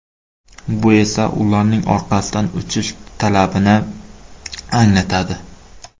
Bu esa ularning orqasidan uchish talabini anglatadi.